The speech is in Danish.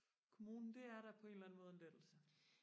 kommunen det er da på en eller anden måde en lettelse